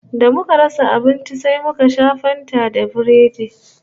Da muka rasa abinci sai muka sha Fanta da Biredi